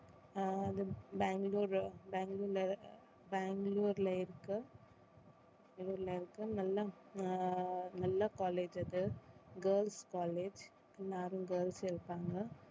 ஆஹ் பெங்களூர் பெங்களூர்ல பெங்களூர்ல இருக்க பெங்களூர்ல இருக்க நல்ல ஆஹ் நல்ல college அது girls college எல்லாரும் girls இருப்பாங்க.